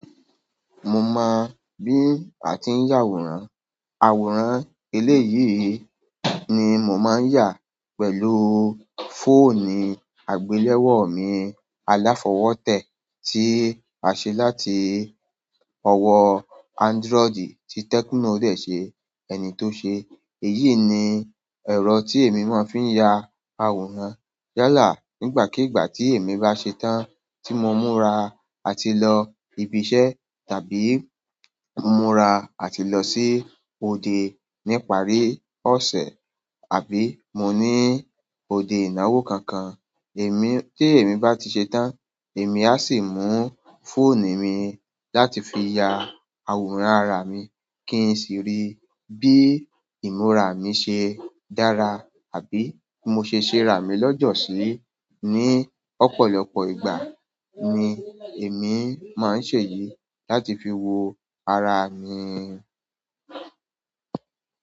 Mo mọ bí a ti ń yà àwòrán. Àwòrán eléyìí ni mo máa ń yà pẹ̀lú fóònù àgbéléwò mi aláfọwótẹ́ tí a ṣe láti ọwọ́ Android tí Tecno dẹ̀ ṣe, ẹni tó ṣe. Èyí ni ẹ̀rọ tí èmi máa ń fi ń ya àwòrán yálà nígbàkigbà tí èmi bá ṣe tán tí mo múra àti lọ ibi iṣẹ́ tàbí múra àti lọ sí òde nípa rì ọ̀sẹ̀ àbí mo ní òde ìnáwó kankan. Èmi, tí èmi bá ti ṣe tán, èmi á sì mú fóònù mi láti fi ya àwòrán ara mi kí n sì rí bí ìmúra mi ṣe dára àbí mo ṣe ṣe rá mi lọ́jọ̀ sí. Ni ọ̀pọ̀lọpọ̀ ìgbà ni èmi máa ń ṣe èyí láti fi wo ara mi.